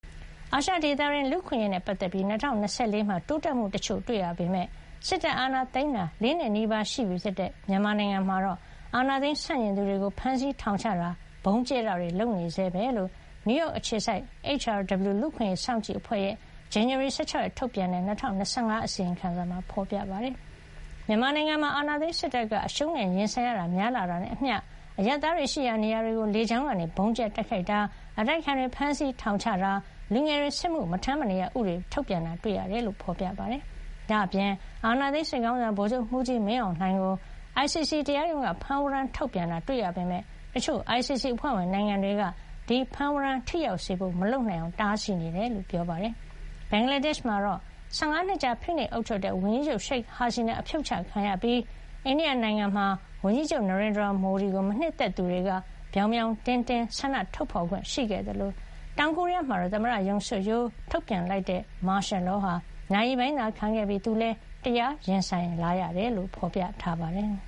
အာရှဒေသတွင်း လူ့အခွင့်ရေးနဲ့ ပတ်သက်ပြီး ၂၀၂၄ မှာ တိုးတက်မှု တချို့တွေ့ရပေမယ့် စစ်တပ်အာဏာသိမ်းထားတာ ၄ နှစ်နီးပါးရှိပြီဖြစ်တဲ့ မြန်မာနိုင်ငံမှာတော့ အာဏာသိမ်းဆန့်ကျင်သူတွေကို ဖမ်းဆီး ထောင်ချတာ ဗုံးကြဲတာတွေ လုပ်နေဆဲပဲလို့ နယူးယောက် အခြေစိုက် HRW လူ့အခွင့်အရေး စောင့်ကြည့်အဖွဲ့ရဲ့ ဇန်နဝါရီ ၁၆ ရက်က ထုတ်ပြန်တဲ့ ၂၀၂၅ ခုနှစ် အစီရင်ခံစာမှာ ဖေါ်ပြထားပါတယ်။ မြန်မာနိုင်ငံမှာ အာဏာသိမ်းစစ်တပ်က အရှုံးနဲ့ ရင်ဆိုင်ရတာတွေ များလာနေတာနဲ့ အမျှ၊ အရပ်သားတွေ ရှိရာနေရာတွေကို လေကြောင်း ကနေ ဗုံးကြဲတိုက်ခိုက်တာ၊ အတိုက်အခံတွေ ဖမ်းဆီးထောင်ချတာ၊ လူငယ်တွေ စစ်မှု မထမ်းမနေရ ဥပဒေ ထုတ်ပြန်တာ တွေ့ရတယ်လို့ ဖေါ်ပြပါတယ်။ ဒါ့အပြင် အာဏာသိမ်းစစ်ခေါင်းဆောင် ဗိုလ်ချုပ်မှုးကြီး မင်းအောင်လှိုင်းကို ICC တရားရုံးက ဖမ်းဝရမ်း ထုတ်ပြန်တာ တွေ့ရပေမယ့် တချို့ ICC အဖွဲ့ဝင်နိုင်ငံတွေက ဒီဖမ်းဝရမ်း ထိရောက်စေဖို့ မလုပ်နိုင်အောင် တားဆီးနေတယ် လို့ ပြောပါတယ်။ ဘင်္ဂလားဒေ့ရှ် နိုင်ငံမှာ ၁၅ နှစ်ကြာ ဖိနှိပ်အုပ်ချုပ်ခဲ့တဲ့ ဝန်ကြီးချုပ် ရှိတ်ဟာစီနာ အဖြုတ်ချခံရပြီး ၊ အိန္ဒိယနိုင်ငံမှာ ဝန်ကြီးချုပ် နရိန်ဒရာ မိုဒီ ကို မနှစ်သက်သူတွေက ပြောင်ပြောင်တင်းတင်း ဆန္ဒထုတ်ဖေါ်ခွင့်ရှိခဲ့သလို တောင်ကိုရီးယား မှာတော့ သမ္မတ Yooon Suk Yeol ထုတ်ပြန်လိုက်တဲ့ မာရှယ်လောဟာ နာရီပိုင်းသာခံခဲ့ပြီး သူလည်း တရားရင်ဆိုင်လာရတယ် လို့ ဖေါ်ပြထားပါတယ်။